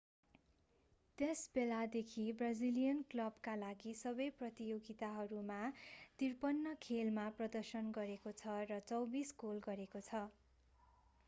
त्यस बेलादेखि ब्राजिलियनले क्लबका लागि सबै प्रतियोगिताहरूमा 53 खेल मा प्रदर्शन गरेको छ र 24 गोल गरेको छ